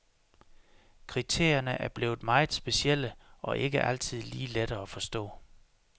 Kriterierne er blevet meget specielle og ikke altid lige lette at forstå.